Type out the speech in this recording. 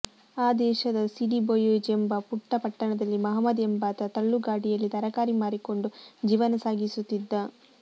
ಆ ದೇಶದ Sidi Bouzid ಎಂಬ ಪುಟ್ಟ ಪಟ್ಟಣದಲ್ಲಿ ಮಹಮದ್ ಎಂಬಾತ ತಳ್ಳುಗಾಡಿಯಲ್ಲಿ ತರಕಾರಿ ಮಾರಿಕೊಂಡು ಜೀವನ ಸಾಗಿಸುತ್ತಿದ್ದ